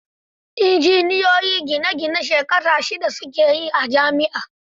Injiniyoyin gine gine shekara shida su ke a jami'a.